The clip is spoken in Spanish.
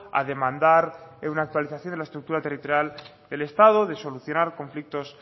a demandar una actualización de la estructura territorial del estado de solucionar conflictos